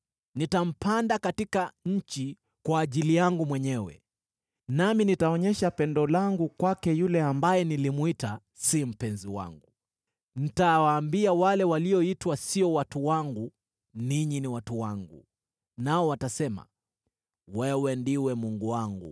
Nitampanda katika nchi kwa ajili yangu mwenyewe; nami nitaonyesha pendo langu kwake yule ambaye nilimwita, ‘Si mpenzi wangu. ’ Nitawaambia wale walioitwa, ‘Sio watu wangu,’ ‘Ninyi ni watu wangu’; nao watasema, ‘Wewe ndiwe Mungu wangu.’ ”